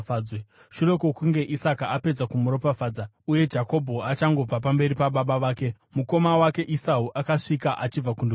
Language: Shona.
Shure kwokunge Isaka apedza kumuropafadza uye Jakobho achangobva pamberi pababa vake, mukoma wake Esau akasvika achibva kundovhima.